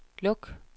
luk